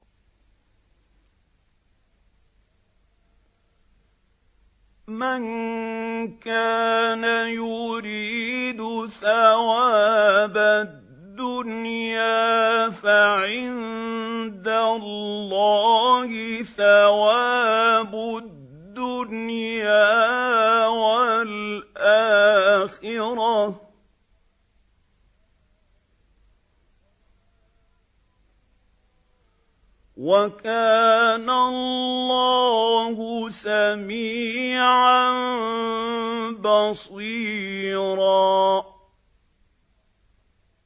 مَّن كَانَ يُرِيدُ ثَوَابَ الدُّنْيَا فَعِندَ اللَّهِ ثَوَابُ الدُّنْيَا وَالْآخِرَةِ ۚ وَكَانَ اللَّهُ سَمِيعًا بَصِيرًا